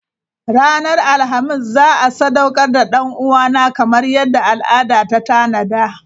Ranar Alhamis za a sadaukar da dan uwana kamar yadda al'ada ta tanada.